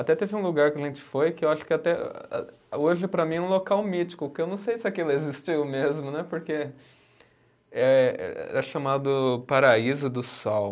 Até teve um lugar que a gente foi que eu acho que até hoje para mim é um local mítico, porque eu não sei se aquilo existiu mesmo né, porque é, era chamado Paraíso do Sol.